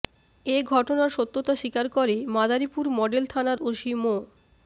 এ ঘটনার সত্যতা স্বীকার করে মাদারীপুর মডেল থানার ওসি মো